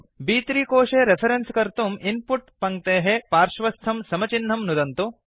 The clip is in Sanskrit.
ब्3 कोशे रेफरेन्स् कर्तुं इन् पुट् पङ्क्तेः पार्श्वस्थं समचिह्नं नुदन्तु